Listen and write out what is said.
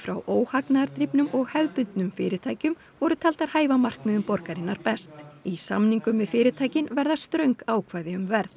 óhagnaðardrifnum og hefðbundnum fyrirtækjum voru taldar hæfa markmiðum borgarinnar best í samningum við fyrirtækin verða ströng ákvæði um verð